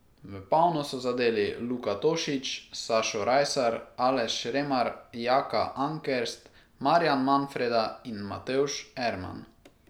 V polno so zadeli Luka Tošič, Sašo Rajsar, Aleš Remar, Jaka Ankerst, Marjan Manfreda in Matevž Erman.